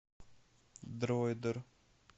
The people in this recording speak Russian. дроидер